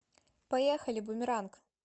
поехали бумеранг